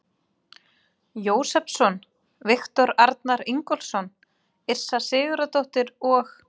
Jósepsson, Viktor Arnar Ingólfsson, Yrsa Sigurðardóttir og